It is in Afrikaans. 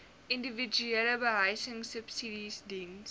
individuele behuisingsubsidies diens